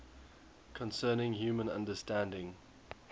concerning human understanding